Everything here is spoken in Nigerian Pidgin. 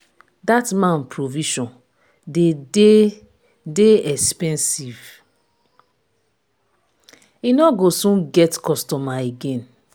dat man provision dey dey dey expensive. he no go soon get customer again.